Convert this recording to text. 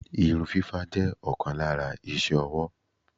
Irun fífá jẹ́ ọ̀kan lára iṣé owó.